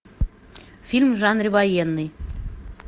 фильм в жанре военный